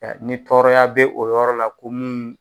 ni tɔɔrɔya bɛ o yɔrɔ la ko mun